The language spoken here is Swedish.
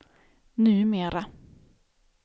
numera